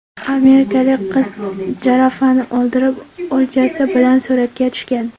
Amerikalik qiz jirafani o‘ldirib, o‘ljasi bilan suratga tushgan.